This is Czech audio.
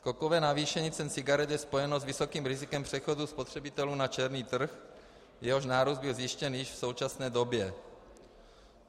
Skokové navýšení cen cigaret je spojeno s vysokým rizikem přechodu spotřebitelů na černý trh, jehož nárůst byl zjištěn již v současné době.